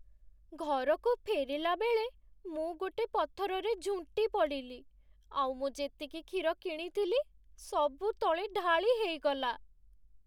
ଘରକୁ ଫେରିଲାବେଳେ, ମୁଁ ଗୋଟେ ପଥରରେ ଝୁଣ୍ଟି ପଡ଼ିଲି, ଆଉ ମୁଁ ଯେତିକି କ୍ଷୀର କିଣିଥିଲି ସବୁ ତଳେ ଢାଳିହେଇଗଲା ।